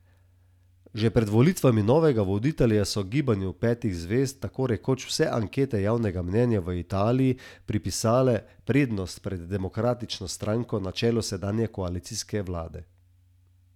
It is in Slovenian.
Spomnimo, da je Estonka v prvem krogu senzacionalno premagala prvo igralko sveta Romunko Simono Halep.